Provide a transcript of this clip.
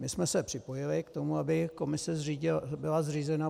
My jsme se připojili k tomu, aby komise byla zřízena.